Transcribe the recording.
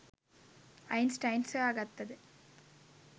Einstein සොයාගත්තද